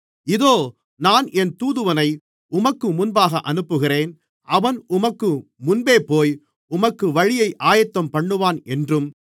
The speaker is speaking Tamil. இதோ நான் என் தூதுவனை உமக்கு முன்பாக அனுப்புகிறேன் அவன் உமக்கு முன்பேபோய் உமக்கு வழியை ஆயத்தம்பண்ணுவான் என்றும்